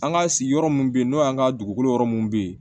An ka sigiyɔrɔ minnu bɛ yen n'o y'an ka dugukolo yɔrɔ minnu bɛ yen